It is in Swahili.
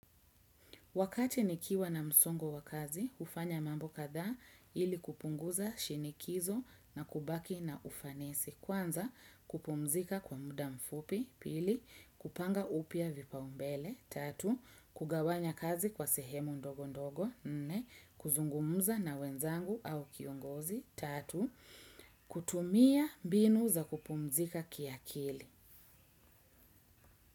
Wakati nikiwa na msongo wa kazi, hufanya mambo kadhaa ili kupunguza shinikizo na kubaki na ufanisi. Kwanza, kupumzika kwa muda mfupi. Pili, kupanga upya vipaumbele. Tatu, kugawanya kazi kwa sehemu ndogo ndogo. Nne, kuzungumuza na wenzangu au kiongozi. Tatu, kutumia mbinu za kupumzika kiakili.